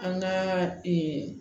An ka